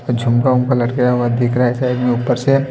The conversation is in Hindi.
झुमका उमका लटकाया हुआ दिख रहा है साइड में ऊपर से--